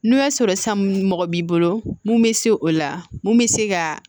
N'o y'a sɔrɔ san mɔgɔ b'i bolo mun bɛ se o la mun bɛ se ka